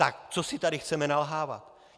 Tak co si tady chceme nalhávat?